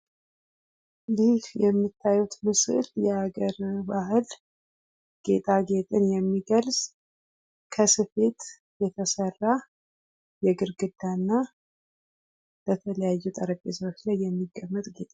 ይህ የምታዩት ምስል የሀገር ባህል ጌጣጌጥን የሚገልፅ ፤ ከስፌት የተሰራ የግድግዳ እና በተለያዩ ጠረቤዛዎች ላይ የሚቀምጥ ጌጥ ነው::